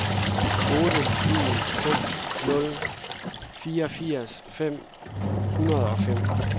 otte en seks nul fireogfirs fem hundrede og fem